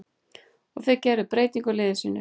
Og þeir gera breytingu á liði sínu.